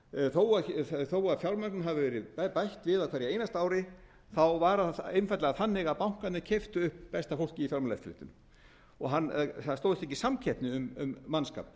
þó að fjármögnun hafi verið bætt við á hverju einasta ári þá var að einfaldlega þannig að bankarnir keyptu upp besta fólkið í fjármálaeftirlitinu það stóðst ekki samkeppni um mannskap